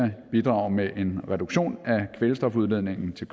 bidrage med en reduktion af kvælstofudledningen til